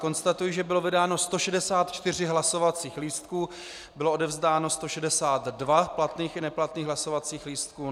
Konstatuji, že bylo vydáno 164 hlasovacích lístků, bylo odevzdáno 162 platných i neplatných hlasovacích lístků.